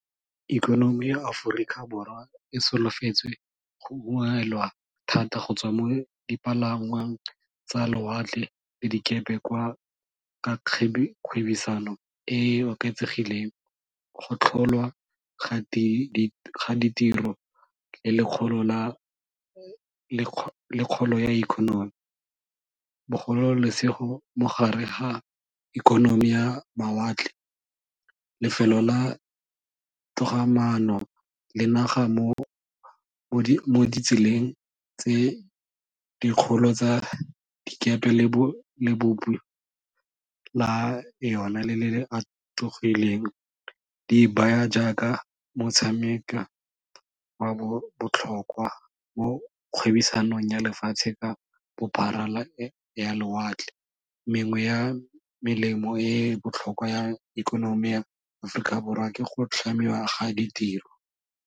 Ikonomi ya Aforika Borwa e solofetse go ungwelwa thata go tswa mo dipalangwang tsa lowatle le dikepe kwa ka kgwebisano e oketsegileng go tlholwa ga ditiro le kgolo ya economy. Bogolo lesego mogare ga ikonomi ya mawatle, lefelo la togamaano le naga mo ditseleng tse dikgolo tsa dikepe le la yone le le le atogileng di baya jaaka motshameka wa botlhokwa mo kgwebisanong ya lefatshe ka bophara la ya lowatle, mengwe ya melemo e botlhokwa ya ikonomi ya Aforika Borwa ke go tlhamiwa ga ditiro.